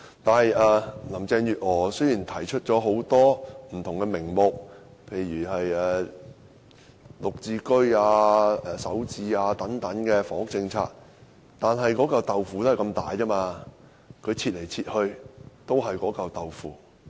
雖然林鄭月娥提出了名目不同的房屋政策，例如"綠置居"、"首置"單位等，但"豆腐"只有這麼大，她切來切去仍是那塊"豆腐"。